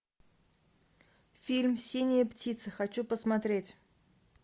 фильм синяя птица хочу посмотреть